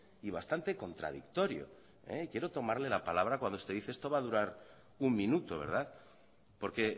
y bastante contradictorio quiero tomarle la palabra cuando usted dice esto va a durar un minuto porque